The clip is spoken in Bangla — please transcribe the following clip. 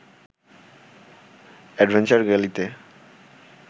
অ্যাডভেঞ্চার গ্যালিতে